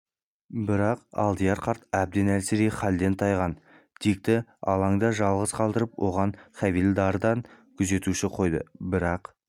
бірақ алдияр қарт әбден әлсірей халден тайған дикті алаңда жалғыз қалдырып оған хавильдардан күзетші қойды бірақ